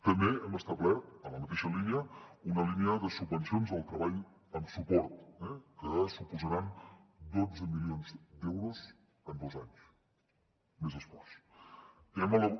també hem establert en la mateixa línia una línia de subvencions del treball amb suport que suposaran dotze milions d’euros en dos anys més esforç